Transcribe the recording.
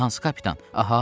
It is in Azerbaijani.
Hansı kapitan, Ahav?